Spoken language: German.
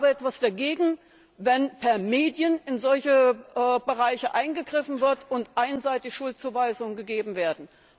Ich habe etwas dagegen, wenn per Medien in solche Bereiche eingegriffen wird und einseitig Schuldzuweisungen gegeben werden.